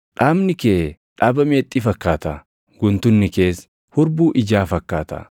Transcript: Dhaabni kee dhaaba meexxii fakkaata; guntunni kees hurbuu ijaa fakkaata.